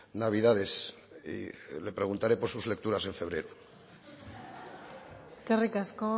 navidades y le preguntaré por sus lecturas en febrero eskerrik asko